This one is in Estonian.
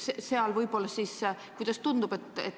Seal siis – kuidas tundub?